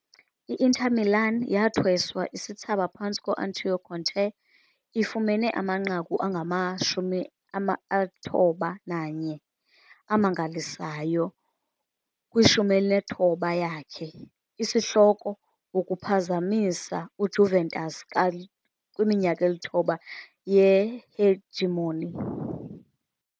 I-Inter Milan yathweswa isithsaba phantsi koAntonio Conte, ifumene amanqaku angama-91 amangalisayo, kwi-19th yakhe. Isihloko, ukuphazamisa uJuventus' kwiminyaka eli-9 ye-hegemony.